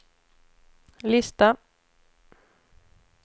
lista